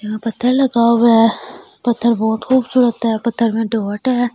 यहाँ पत्थर लगा हुआ है पत्थर बहुत खूबसूरत है पत्थर मे डॉट है ।